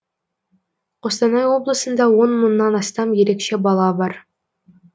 қостанай облысында он мыңнан астам ерекше бала бар